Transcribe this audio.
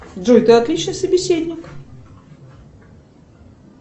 джой ты отличный собеседник